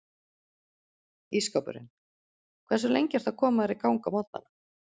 Ísskápurinn Hversu lengi ertu að koma þér í gang á morgnanna?